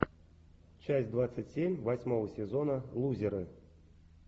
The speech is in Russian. часть двадцать семь восьмого сезона лузеры